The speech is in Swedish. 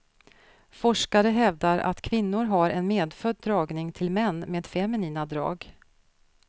Forskare hävdar att kvinnor har en medfödd dragning till män med feminina drag.